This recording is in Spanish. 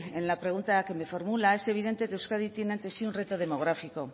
en la pregunta que me formula es evidente que euskadi tiene ante sí un reto demográfico